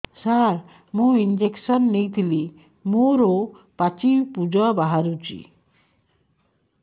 ସାର ମୁଁ ଇଂଜେକସନ ନେଇଥିଲି ମୋରୋ ପାଚି ପୂଜ ବାହାରୁଚି